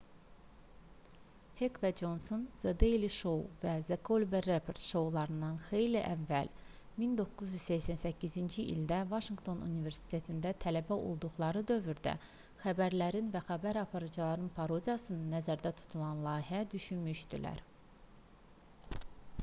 hek və conson the daily show və the colbert report şoularından xeyli əvvəl 1988-ci ildə vaşinqton universitetində tələbə olduqları dövrdə xəbərlərin və xəbər aparıcılarının parodiyasını nəzərdə tutan layihə düşünmüşdülər